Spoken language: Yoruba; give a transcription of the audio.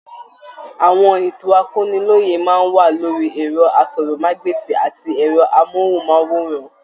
Àwọn ètò akọ́niloyè máa n wà lórí ẹrọ àsọ̀rọ̀mágbèsi àti ẹrọ amohunmaworan.